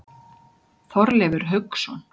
Þorleifur Hauksson.